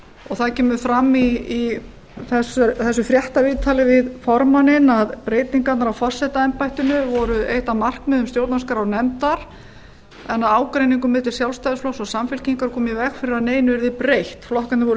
og það kemur fram í þessu fréttaviðtali við formanninn að breytingarnar á forsetaembættinu voru eitt af markmiðum stjórnarskrárnefndar en ágreiningur milli sjálfstæðisflokks og samfylkingar komi í veg fyrir að neinu yrði breytt flokkarnir voru